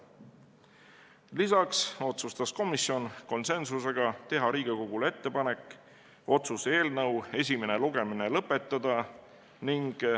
Lisaks otsustas komisjon konsensusega teha Riigikogule ettepaneku otsuse eelnõu esimene lugemine lõpetada.